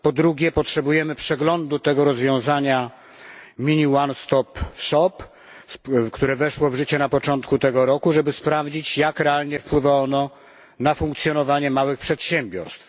Po drugie, potrzebujemy przeglądu tego rozwiązania które weszło w życie na początku tego roku, żeby sprawdzić, jak realnie wpływa ono na funkcjonowanie małych przedsiębiorstw.